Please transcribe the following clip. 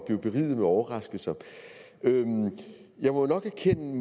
at blive beriget med overraskelser jeg må nok erkende